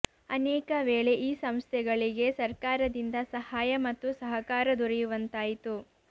ಅನೇಕ ವೇಳೆ ಈ ಸಂಸ್ಥೆಗಳಿಗೆ ಸರ್ಕಾರದಿಂದ ಸಹಾಯ ಮತ್ತು ಸಹಕಾರ ದೊರೆಯುವಂತಾಯಿತು